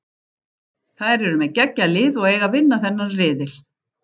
Þær eru með geggjað lið og eiga að vinna þennan riðil.